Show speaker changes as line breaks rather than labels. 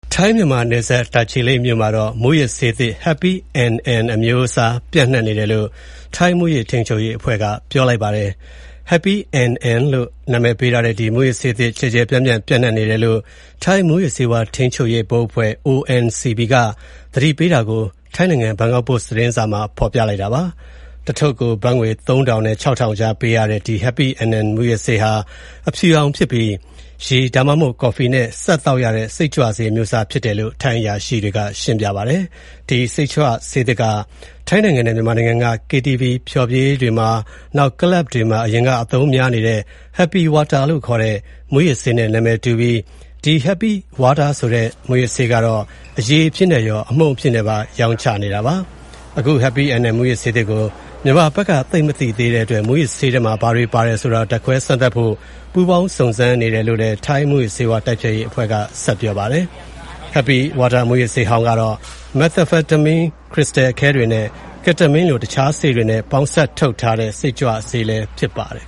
ထိုင်းမြန်မာနယ်စပ် တာချီလိတ်မြို့မှာ Happy NN လို့ နာမည်ပေးထားတဲ့ မူးယစ်ဆေးတမျိုး ပျံ့နှံ့နေကြောင်း ထိုင်း မူးယစ်ဆေးဝါးထိန်းချုပ်ရေး ဘုတ်အဖွဲ့ ONCB က သတိပေးထားတာကို ဘန်ကောက်ပို့စ် သတင်းစာမှာ ဖော်ပြလိုက်ပါတယ်။ ဆေးတထုပ်ကို ဘတ်ငွေ ၃ ထောင်နဲ့ ၆ ထောင်ကြားပေးရတဲ့ ဒီ Happy NN မူးယစ်ဆေးဟာ အဖြူရောင်ဖြစ်ပြီး ရေ ဒါမှမဟုတ် ကော်ဖီနဲ့စပ်သောက်တဲ့ မူးယစ်ဆေးအမျိုးအစားဖြစ်တယ်လို့ ထိုင်းအရာရှိတွေကပြောပါတယ်။ ဒီမူးဆေးသစ်က ထိုင်းနိုင်ငံနဲ့ မြန်မာနိုင်ငံက KTV ဖျော်ဖြေရေးရုံတွေ၊ ကလပ်တွေမှာ အရင်ကအသုံးများတဲ့ Happy Water လို့ခေါ်တဲ့ မူးယစ်ဆေးနဲ့ နာမည်တူပြီး Happy Water ကို အရည်အဖြစ်နဲ့ရောအမှုန့်အဖြစ်နဲ့ပါ ရောင်းချနေတာဖြစ်ပါတယ်။ ဒီ Happy NN မူးယစ်ဆေးသစ်ကို မြန်မာဘက်က သိပ်မသိသေးတဲ့အတွက် မူးယစ်ဆေးထဲမှာ ဘာတွေပါတယ်ဆိုတာ ဓါတ်ခွဲစမ်းသပ်ဖို့ ပူးပေါင်းစုံစမ်းနေတယ်လို့လည်း ထိုင်း မူးယစ်ဆေးဝါး တိုက်ဖျက်ရေးအဖွဲ့က ဆက်ပြောပါတယ်။ Happy Water မူးယစ်ဆေးဟောင်းကတော့ မက်သာဖက်တမင်းခရစ္စတယ်အခဲတွေနဲ့ ကက်တမင်းလို တခြား ဆေးတွေ ပေါင်းစပ်ထားတဲ့ စိတ်ကြွဆေးဖြစ်ပါတယ်။